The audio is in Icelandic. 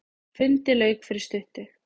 Fundi lauk fyrir stuttu.